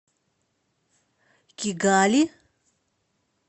кигали